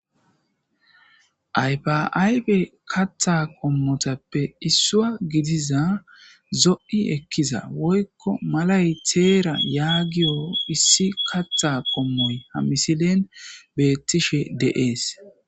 aypaaybe katha qommotappe issuwa gidiza zo7i ekkiza woykko malay teera yaagiyo issi katha qommoy hamisilen beettishe deees